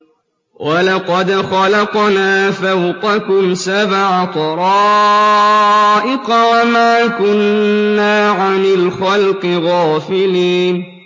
وَلَقَدْ خَلَقْنَا فَوْقَكُمْ سَبْعَ طَرَائِقَ وَمَا كُنَّا عَنِ الْخَلْقِ غَافِلِينَ